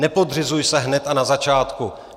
Nepodřizuj se hned a na začátku.